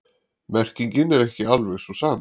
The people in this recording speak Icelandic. Merkingin er ekki alveg sú sama.